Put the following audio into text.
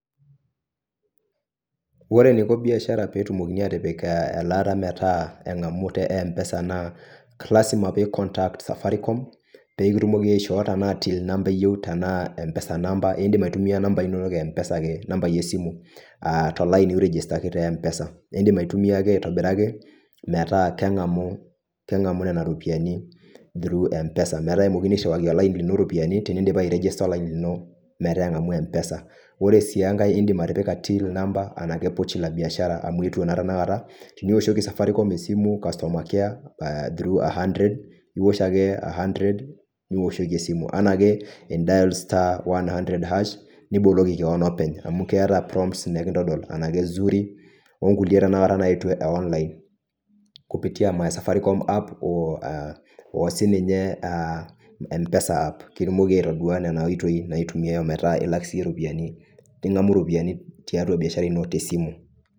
Ore eniko biashara peetumokini atipik eh eelata metaa engamu tempesa naa, lasima pee I contact safaricom, pee kitumoki aishoo tenaa till number eyieu tenaa empesa namba idim aitumia nambai inonok empesa ake. Nambai esimu ah to laini oirigistaki tempesa. Naa idim aitumia ake aitobiraki metaa kengamu nena ropiyani through mpesa metaa kemokini airiwaki olaini lino iropiyani tenidipa airigista olaini lino metaa engamu empesa. Ore si enkae idim atipika till number araki pochi la biashara amu eetuo naa tenakata. Teniwoshoki safaricom esimu customer care ah through 100 iwosh ake 100 niwoshoki esimu . Enake i dial *100#] niboloki kewon openy amu keeta prompts nikitodol enake , zuri okulie tenakata naaetuu eh online kupitia my safaricom app oo sininye ah mpesa app pitumoki atodua nena oitoi naitumiae pee ilak siiyie iropiyani ningamu iropiyani tiatua biashara ino esimu.